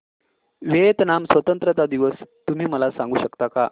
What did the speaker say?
Vietnam स्वतंत्रता दिवस तुम्ही मला सांगू शकता का